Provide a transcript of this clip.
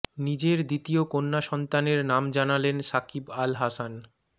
নিজের দ্বিতীয় কন্যা সন্তানের নাম জানালেন সাকিব আল হাসান